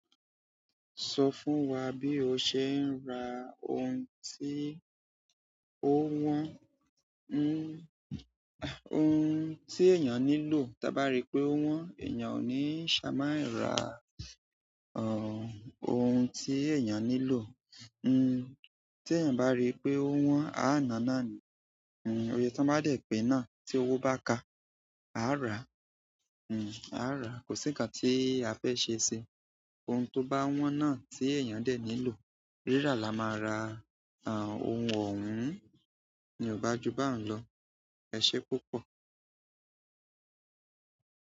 Sọ fún wa bí o ṣe ń ra ohun tí ó wọ́n, ohun tí èèyàn nílò. Tí a bá rí pé ó wọ́n, èèyàn ò ní ṣaláì ra, ohun tí èèyàn nílò. N, tí eeyan bá rí pé ó wọ́n, a nàá náà ní. N, iyè tan bá dé pé náà tí owó bá ká, a rá. N, a rá. Kò sí ǹkan tí a fẹ́ ṣe ṣe. Ohun tó bá wọ́n náà tí èèyàn dẹ̀ nílò, rírà la máa ra. Ra oun ohun ni o ba ju bahun lo e se púpọ̀.